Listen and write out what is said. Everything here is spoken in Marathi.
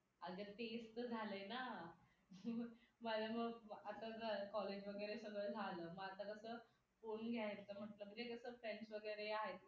अग तेच तर झाले ना माझा मुळे आता college वगैरे सगळं झालं मग आता कसं फोन घ्यायचं म्हणजे कसं friends वगैरे आहेत ना मित्र-मैत्रिणी त्यांच्यासोबत त्यांच्या सगळ्या